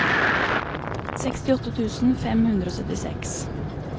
sekstiåtte tusen fem hundre og syttiseks